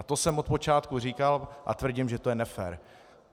A to jsem od počátku říkal a tvrdím, že to je nefér.